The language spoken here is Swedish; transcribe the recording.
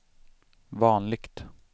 vanligt